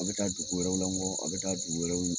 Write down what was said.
A bɛ taa dugu wɛrɛw la ngɔ a bɛ taa dugu wɛrɛw